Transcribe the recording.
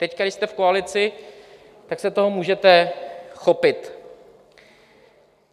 Teď, když jste v koalici, tak se toho můžete chopit.